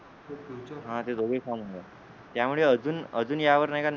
हा ते दोघही फॉम मध्ये आहेत त्यामुळे अजून अजून यावर नाहीका